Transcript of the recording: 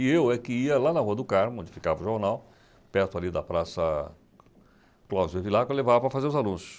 E eu é que ia lá na Rua do Carmo, onde ficava o jornal, perto ali da Praça Cláudio Evilá, que eu levava para fazer os anúncios.